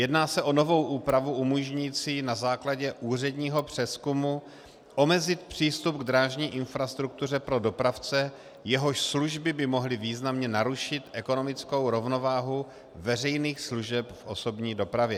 Jedná se o novou úpravu umožňující na základě úředního přezkumu omezit přístup k drážní infrastruktuře pro dopravce, jehož služby by mohly významně narušit ekonomickou rovnováhu veřejných služeb v osobní dopravě.